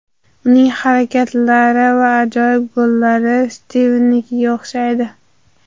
Uning harakatlari va ajoyib gollari Stivnikiga o‘xshaydi.